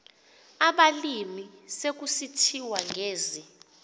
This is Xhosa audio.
abalimi sekusithiwa ngezi